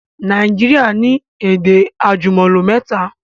Naijiria ni èdè àjùmọ̀lò mẹ́ta